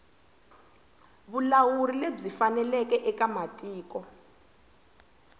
vulawuri lebyi faneleke eka tiko